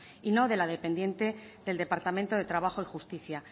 y no de la dependiente del departamento de trabajo y justicia